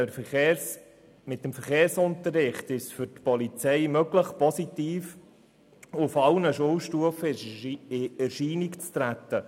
Mit dem Verkehrsunterricht ist es für die Polizei nämlich möglich, auf allen Schulstufen positiv in Erscheinung zu treten.